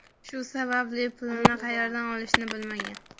shu sababli pulini qayerdan olishni bilmagan.